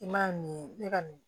I ma ye ne ka nin